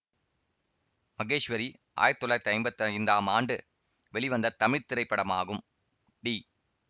மகேஸ்வரி ஆயிரத்தி தொள்ளாயிரத்தி ஐம்பத்தி ஐந்தாம் ஆண்டு வெளிவந்த தமிழ் திரைப்படமாகும் டி